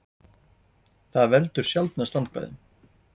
það veldur sjaldnast vandkvæðum